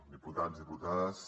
diputats i diputades